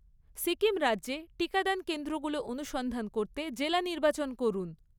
সিকিম রাজ্যে টিকাদান কেন্দ্রগুলো অনুসন্ধান করতে জেলা নির্বাচন করুন।